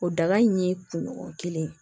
O dangan in ye kunɲɔgɔn kelen